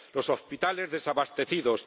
los hospitales, desabastecidos